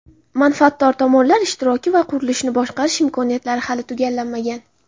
manfaatdor tomonlar ishtiroki va qurilishni boshqarish imkoniyatlari hali tugallanmagan.